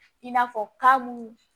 I n'a fɔ ka mun